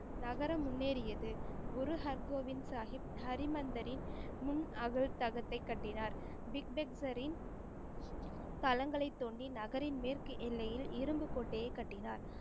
நகரம் முன்னேறியது. குரு ஹர்கோவிந் சாஹிப் ஹரிமந்தரின் முன் அகல் தகத்தை கட்டினார். பிக்தேக்சரின் தளங்களைத் தோண்டி நகரின் மேற்கு எல்லையில் இரும்பு கோட்டையை கட்டினார்.